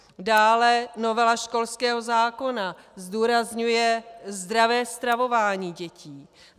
Dále novela školského zákona zdůrazňuje zdravé stravování dětí.